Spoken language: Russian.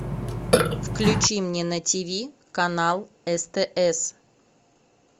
включи мне на тиви канал стс